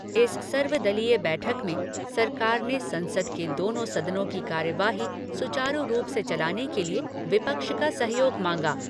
इस सर्वदलीय बैठक में सरकार ने संसद के दोनों सदनों की कार्यवाही सुचारू रूप से चलाने के लिए विपक्ष का सहयोग मांगा।